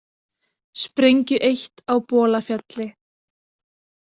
Sprengju eytt á Bolafjalli